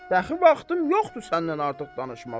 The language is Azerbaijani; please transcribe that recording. Baxı vaxtım yoxdur səndən artıq danışmağa.